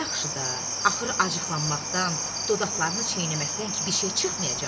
Yaxşı da, axırı acıqlanmaqdan, dodaqlarını çiynəməkdən ki, bir şey çıxmayacaq.